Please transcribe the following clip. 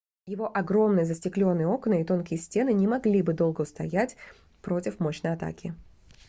его огромные застеклённые окна и тонкие стены не могли бы долго устоять против мощной атаки